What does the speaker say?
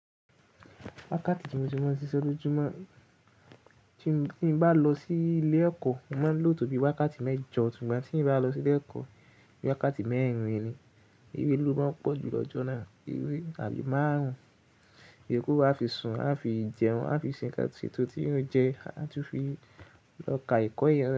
Wákàtí tí mo ti máa ń ṣiṣẹ́ lójú mọ́, tí n bá lọ sí ilé ẹ̀kọ́, mo máa ń lò tó bí wákàtí mẹ́jọ, sùgbọ̀n tí n bá lọ sí ilé ẹ̀kọ́, bí wákàtí mẹ́rin ni. Eré ló máa ń pọ̀ jù lọ́jọ́ náà. Eré àbí márùn-ún. Iyoku a fi sùn, a fi jẹun, a fi ṣe ńǹkan ètò tí eeyan o jẹ́, a tún fi lọ ká ẹ̀kọ́ yẹn.